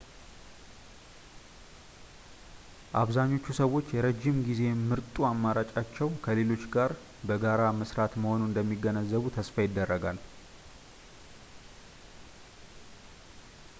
አብዛኛዎቹ ሰዎች የረዥም ጊዜ ምርጡ አማራጫቸው ከሌሎች ጋር በጋራ መስራት መሆኑን እንደሚገነዘቡ ተስፋ ይደረጋል